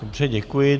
Dobře, děkuji.